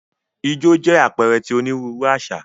Ijó jẹ apẹẹrẹ ti oniruuru aṣa.